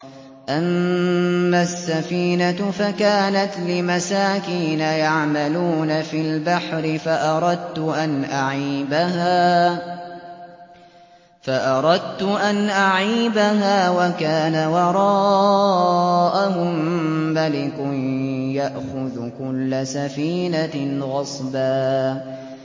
أَمَّا السَّفِينَةُ فَكَانَتْ لِمَسَاكِينَ يَعْمَلُونَ فِي الْبَحْرِ فَأَرَدتُّ أَنْ أَعِيبَهَا وَكَانَ وَرَاءَهُم مَّلِكٌ يَأْخُذُ كُلَّ سَفِينَةٍ غَصْبًا